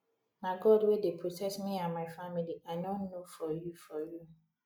na god wey dey protect me and my family i no know for you for you